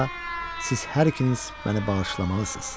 siz hər ikiniz məni bağışlamalısınız.